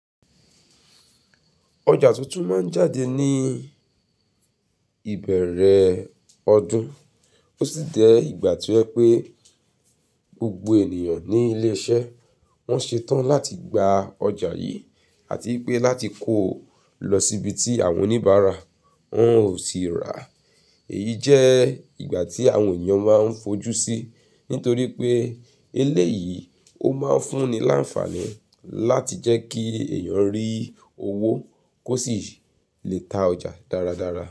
Ọjà tuntun ma ń jáde ní ìbẹ̀rẹ̀ ọdún. Ó sì jẹ ìgbà tí ó jẹ́ pé gbogbo ènìyàn ní ilé iṣẹ́ wọn ṣetán láti gba ọjà yìí àti pé láti kóo lọ síbi tí àwọn oníbàárà wọn ó sì ra. Èyí jẹ́ ìgbà tí àwọn èyàn máa ń fojú sí, nítorí pé eléyì, ó máa ń fúnni l'ánfàní láti jẹ́ kí èyàn rí owó. Kó sì lè ta ọjà dáradára.